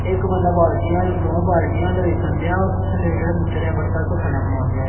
ਇਕ ਬੰਦਾ ਬਾਲਟੀਆਂ ਵੱਲ ਦੋਹਾਂ ਬਾਲਟੀਆਂ ਦੇਖਣ ਡਿਆ ਵਾ--